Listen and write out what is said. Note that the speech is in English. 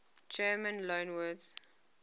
german loanwords